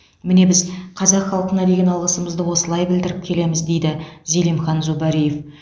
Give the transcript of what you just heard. міне біз қазақ халқына деген алғысымызды осылай білдіріп келеміз дейді зелимхан зубариев